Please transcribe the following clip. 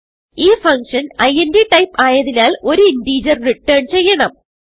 ഈ function int type ആയതിനാൽ ഒരു ഇന്റഗർ റിട്ടർൻ ചെയ്യണം